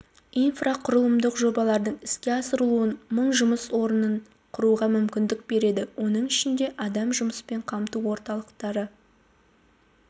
инфрақұрылымдық жобалардың іске асырылуы мың жұмыс орнын құруға мүмкіндік береді оның ішінде адам жұмыспен қамту орталықтары